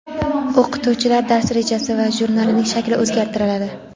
o‘qituvchilar dars rejasi va jurnalining shakli o‘zgartiriladi.